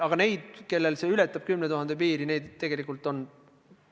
Aga neid, kellel see summa ületab 10 000 euro piiri, ei ole kindlasti palju.